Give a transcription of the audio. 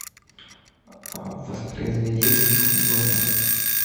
воспроизведи ник джуниор